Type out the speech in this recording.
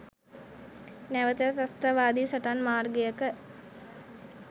නැවත ත්‍රස්තවාදී සටන් මාර්ගයක